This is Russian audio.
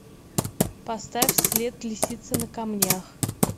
поставь след лисицы на камнях